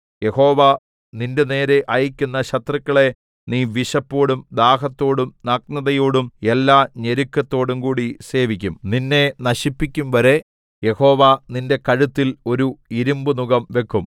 യഹോവ നിന്റെനേരെ അയയ്ക്കുന്ന ശത്രുക്കളെ നീ വിശപ്പോടും ദാഹത്തോടും നഗ്നതയോടും എല്ലാഞെരുക്കത്തോടും കൂടി സേവിക്കും നിന്നെ നശിപ്പിക്കുംവരെ യഹോവ നിന്റെ കഴുത്തിൽ ഒരു ഇരിമ്പുനുകം വയ്ക്കും